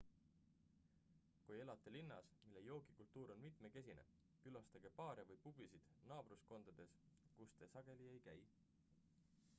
kui elate linnas mille joogikultuur on mitmekesine külastage baare või pubisid naabruskondades kus te sageli ei käi